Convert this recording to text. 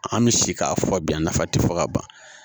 An bɛ si k'a fɔ bi a nafa tɛ fɔ ka ban